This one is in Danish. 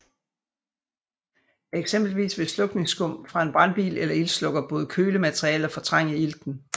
Eksempelvis vil slukningsskum fra en brandbil eller ildslukker både køle materialet og fortrænge ilten